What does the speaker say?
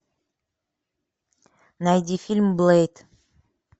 найди фильм блейд